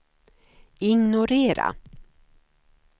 ignorera